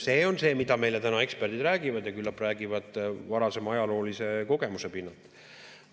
See on see, mida meile täna eksperdid räägivad ja küllap räägivad varasema ajaloolise kogemuse pinnalt.